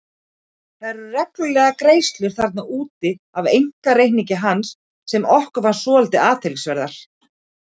Það eru reglulegar greiðslur þarna út af einkareikningi hans sem okkur fannst svolítið athyglisverðar.